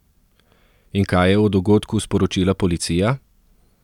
In kaj je o dogodku sporočila policija?